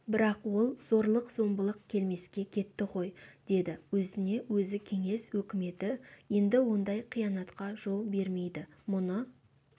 бірақ ол зорлық-зомбылық келмеске кетті ғой деді өзіне-өзі кеңес өкіметі енді ондай қиянатқа жол бермейді мұны